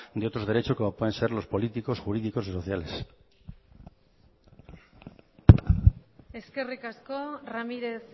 de otros derechos como pueden ser los políticos jurídicos o sociales eskerrik asko ramírez